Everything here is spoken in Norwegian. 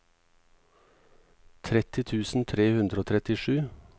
tretti tusen tre hundre og trettisju